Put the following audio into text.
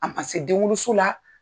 A ma se denwoloso la